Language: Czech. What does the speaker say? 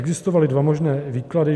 Existovaly dva možné výklady.